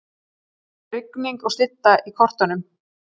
Rigning og slydda í kortunum